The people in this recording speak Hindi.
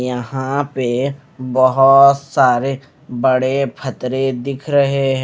यहां पे बहोत सारे बड़े फतरे दिख रहे हैं।